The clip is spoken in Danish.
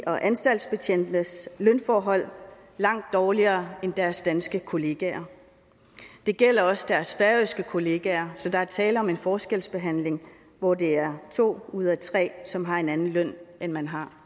og anstaltbetjentes lønforhold langt dårligere end deres danske kollegaers det gælder også deres færøske kollegaer så der er tale om en forskelsbehandling hvor det er to ud af tre som har en anden løn end man har